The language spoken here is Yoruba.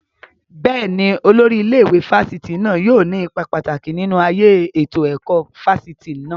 Bẹ́ẹ̀ni, Olórí ilé ìwé fásitì náà yóò ní ipa pàtàkì nínú ayé ètò ẹ̀kọ́ fáfitì náà